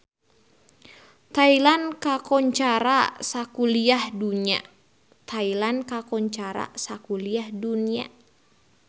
Thailand kakoncara sakuliah dunya